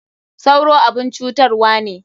Sauro abun cutarwa ne.